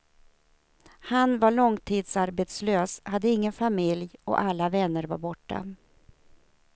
Han var långtidsarbetslös, hade ingen familj och alla vänner var borta.